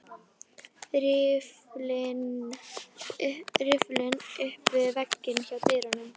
Riffillinn upp við vegg hjá dyrunum.